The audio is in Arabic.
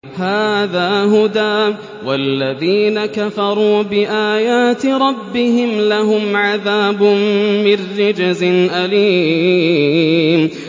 هَٰذَا هُدًى ۖ وَالَّذِينَ كَفَرُوا بِآيَاتِ رَبِّهِمْ لَهُمْ عَذَابٌ مِّن رِّجْزٍ أَلِيمٌ